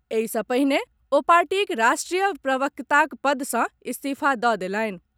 एहि सॅ पहिने ओ पार्टीक राष्ट्रीय प्रवक्ताक पद से इस्तीफा दऽ देलनि।